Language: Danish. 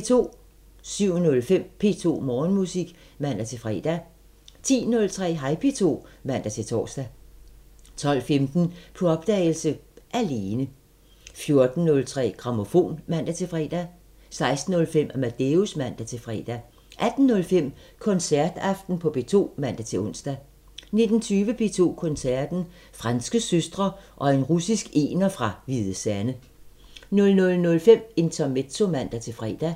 07:05: P2 Morgenmusik (man-fre) 10:03: Hej P2 (man-tor) 12:15: På opdagelse – Alene 14:03: Grammofon (man-fre) 16:05: Amadeus (man-fre) 18:05: Koncertaften på P2 (man-ons) 19:20: P2 Koncerten – Franske søstre og en russisk ener fra Hvide Sande 00:05: Intermezzo (man-fre)